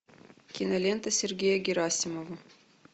кинолента сергея герасимова